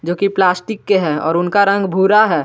जोकि प्लास्टिक के है और उनका रंग भूरा है।